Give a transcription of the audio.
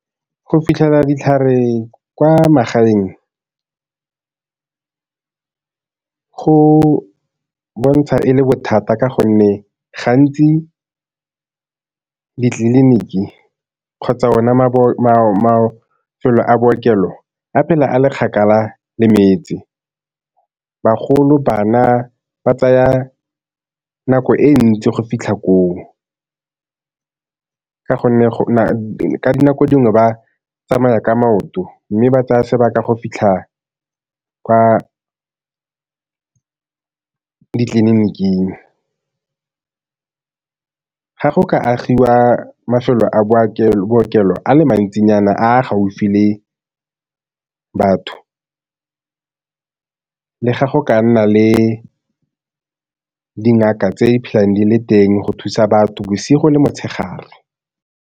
Go fitlhela ditlhare kwa magaeng, go bontsha e le bothata ka gonne gantsi ditleliniki kgotsa ona mafelo a bookelo a phela a le kgakala le metse. Bagolo, bana ba tsaya nako e ntsi go fitlha koo, ka gonne ka dinako dingwe ba tsamaya ka maoto mme ba tsaya sebaka go fitlha kwa ditleliniking. Ga go ka agiwa mafelo a bookelo a le mantsinyana a a gaufi le batho, le ga go ka nna le dingaka tse di phelang di le teng go thusa batho bosigo le motshegare.